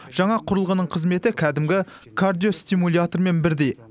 жаңа құрылғының қызметі кәдімгі кардиостимулятормен бірдей